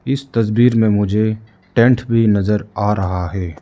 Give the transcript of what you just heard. इस तस्वीर में मुझे टेंट भी नजर आ रहा है।